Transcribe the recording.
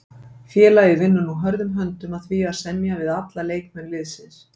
Félagið vinnur nú hörðum höndum að því að semja við alla leikmenn liðsins.